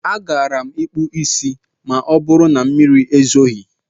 A gaara m akpụ isí ma ọbụrụ na mmiri ezoghi.